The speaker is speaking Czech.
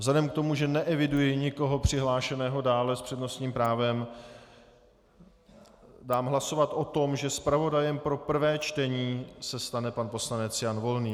Vzhledem k tomu, že neeviduji nikoho přihlášeného dále s přednostním právem, dám hlasovat o tom, že zpravodajem pro prvé čtení se stane pan poslanec Jan Volný.